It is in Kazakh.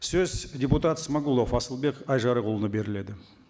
сөз депутат смағұлов асылбек айжарықұлына беріледі